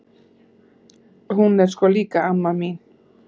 Hún er sko líka amma mín!